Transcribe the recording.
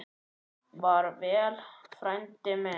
Far vel, frændi minn.